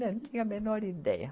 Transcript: Não tinha a menor ideia.